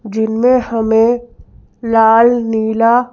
जिनमें हमें लाल नीला--